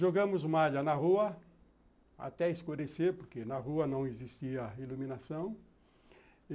Jogamos malha na rua, até escurecer, porque na rua não existia iluminação.